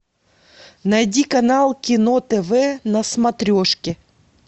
найди канал кино тв на смотрешке